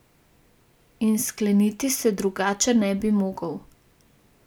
In skleniti se drugače ne bi mogel.